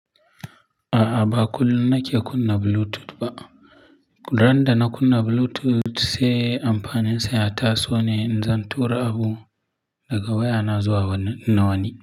A'a, ba kullum nake kunna Bluetooth ba. Dan da na kunna Bluetooth, sai amfaninsa ya taso ne in zan tura abu daga wayana zuwa wani na wani.